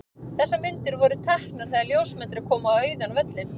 Þessar myndir voru teknar þegar ljósmyndari kom á auðan völlinn.